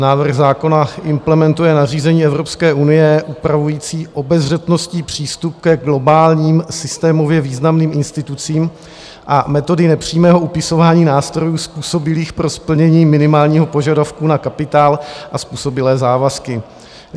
Návrh zákona implementuje nařízení Evropské unie upravující obezřetnostní přístup ke globálním systémově významným institucím a metody nepřímého upisování nástrojů způsobilých pro splnění minimálního požadavku na kapitál a způsobilé závazky.